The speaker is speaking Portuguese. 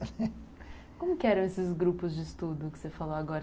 Como que eram esses grupos de estudo que você falou agora?